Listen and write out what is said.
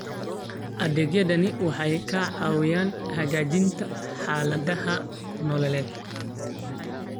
Adeegyadani waxay caawiyaan hagaajinta xaaladaha nololeed.